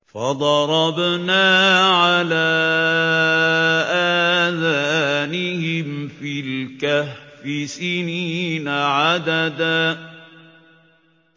فَضَرَبْنَا عَلَىٰ آذَانِهِمْ فِي الْكَهْفِ سِنِينَ عَدَدًا